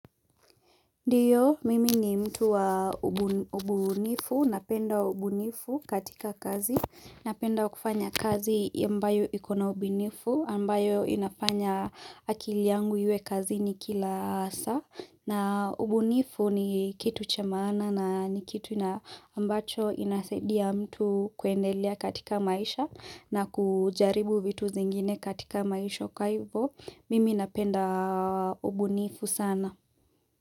Ndiyo, mimi ni mtu wa ubunifu, napenda ubunifu katika kazi, napenda kufanya kazi ambayo iko na ubunifu, ambayo inafanya akili yangu iwe kazini kila saa, na ubunifu ni kitu cha maana na ni kitu na ambacho inasaidia mtu kuendelea katika maisha na kujaribu vitu zingine katika maisho kwa ivo, mimi napenda ubunifu sana.